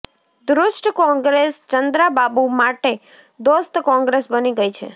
દુષ્ટ કોંગ્રેસ ચંદ્રાબાબુ માટે દોસ્ત કોંગ્રેસ બની ગઈ છે